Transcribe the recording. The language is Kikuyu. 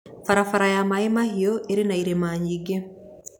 Barabara ya maaĩmahiũ ĩ irĩma nyingĩ